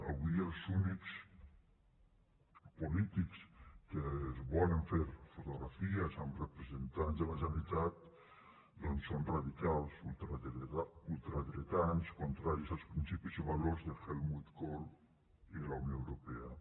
avui els únics polítics que es volen fer fotografies amb representants de la generalitat doncs són radicals ultradretans contraris als principis o valors de helmut kohl i de la unió europea